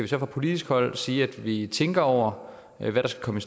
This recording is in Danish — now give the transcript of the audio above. så fra politisk hold sige at vi tænker over hvad der skal komme